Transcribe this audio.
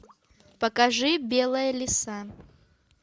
покажи белая лиса